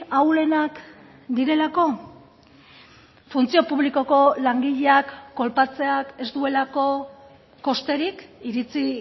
ahulenak direlako funtzio publikoko langileak kolpatzeak ez duelako kosterik iritzi